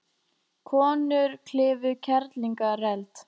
Konur klifu Kerlingareld